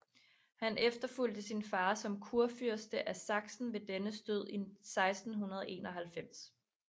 Han efterfulgte sin far som kurfyrste af Sachsen ved dennes død i 1691